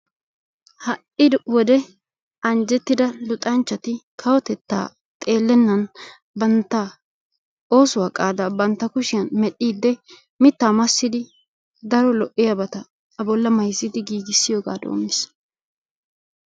Ha''i wode anjjettida luxanchchati kawotettaa xeellennaan bantta oosuwa qaadaa bantta kushshiyan medhdhiide mittaa massidi daro lo''iyabata A bolla mayssidi giiggissiyoga doommiis.